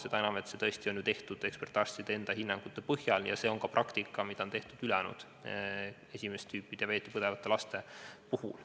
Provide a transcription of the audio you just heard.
Seda enam, et see on tehtud ekspertarstide enda hinnangute põhjal ja see on praktika, mida on kasutatud ka ülejäänud esimest tüüpi diabeeti põdevate laste puhul.